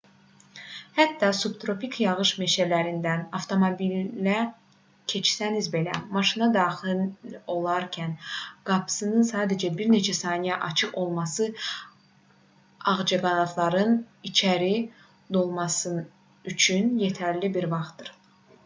hətta subtropik yağış meşələrindən avtomobillə keçsəniz belə maşına daxil olarkən qapısının sadəcə bir neçə saniyə açıq olması ağcaqanadların içəri dolması üçün yetərli bir vaxtdır